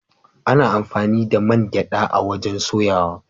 Ana amfani da man gyada a'wajen soyawa.